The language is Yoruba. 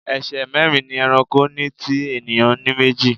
Ẹsẹ̀ mẹ́rin ni ẹranko ní tí ènìyàn ní méjì.